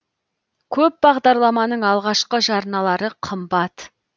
көп бағдарламаның алғашқы жарналары қымбат